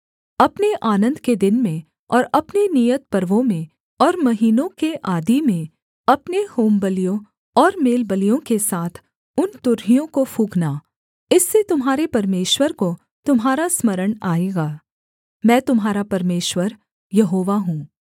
अपने आनन्द के दिन में और अपने नियत पर्वों में और महीनों के आदि में अपने होमबलियों और मेलबलियों के साथ उन तुरहियों को फूँकना इससे तुम्हारे परमेश्वर को तुम्हारा स्मरण आएगा मैं तुम्हारा परमेश्वर यहोवा हूँ